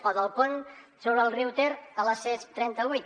o del pont sobre el riu ter a la c trenta vuit